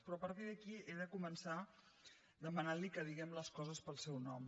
però a partir d’aquí he de començar demanant·li que diguem les co·ses pel seu nom